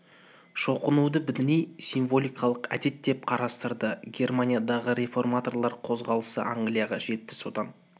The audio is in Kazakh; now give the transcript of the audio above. шоқынуды діни символикалық әдет деп қарастырады германиядағы реформаторлар қозғалысы англияға жетті содан